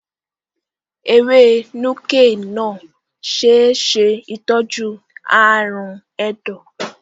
Ewé Nuke-Noh ṣe é ṣe ìtọ́jú ààrùn ẹ̀dọ̀.